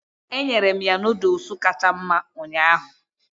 Enyere m ya Nụ́dúls kacha mma ụnyaahụ